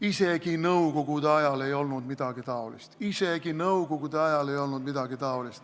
Isegi nõukogude ajal ei olnud midagi sellist, isegi nõukogude ajal.